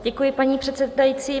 Děkuji, paní předsedající.